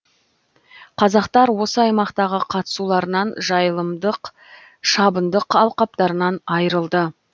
қазақтар осы аймақтағы қыстауларынан жайылымдық шабындық алқаптарынан айырылды